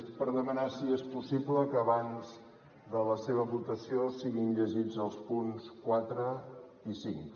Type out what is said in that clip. és per demanar si és possible que abans de la seva votació siguin llegits els punts quatre i cinc